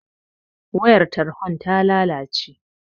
Wayar tarhon ta lalace